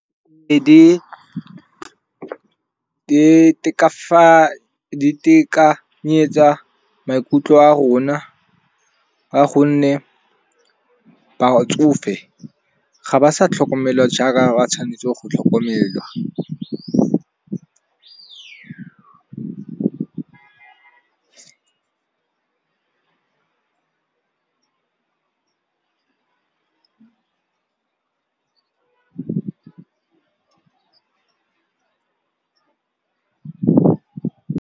Di itekanyetsa maikutlo a rona ka gonne batsofe ga ba sa tlhokomelwa jaaka ba tshwanetse go tlhokomelwa.